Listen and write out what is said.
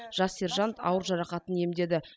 жас сержант ауыр жарақатын емдеді